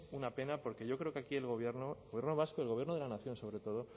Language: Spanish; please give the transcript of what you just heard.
una pena porque yo creo que quiere el gobierno el gobierno vasco y el gobierno de la nación sobre todo